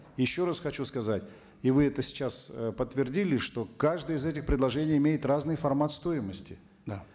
еще раз хочу сказать и вы это сейчас ы подтвердили что каждый из этих предложений имеет разный формат стоимости да